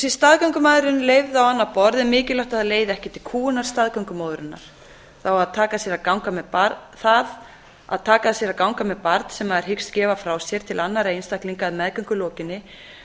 staðgöngumæðrun leyfð á annað borð er mikilvægt að það leiði ekki til kúgunar staðgöngumóðurinnar það að taka að sér að ganga með barn sem maður hyggst gefa frá sér til annarra einstaklinga að meðgöngu lokinni